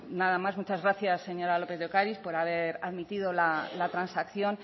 nada más muchas gracias señora lópez de ocariz por haber admitido la transacción